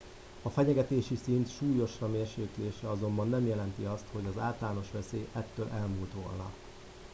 a fenyegetési szint súlyosra mérséklése azonban nem jelenti azt hogy az általános veszély ettől elmúlt volna